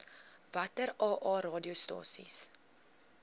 watter aa radiostasies